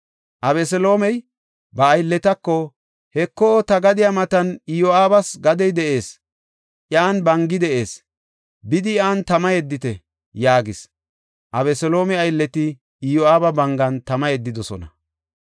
Abeseloomey ba aylletako, “Heko, ta gadiya matan Iyo7aabas gadey de7ees; iyan bangi de7ees. Bidi iyan tama yeddite” yaagis. Abeseloome aylleti Iyo7aaba bangan tama yeddidosona.